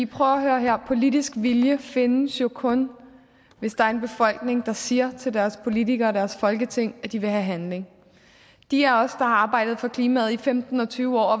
prøv at høre her politisk vilje findes jo kun hvis der er en befolkning der siger til deres politikere og deres folketing at de vil have handling de af os der har arbejdet for klimaet i femten og tyve år og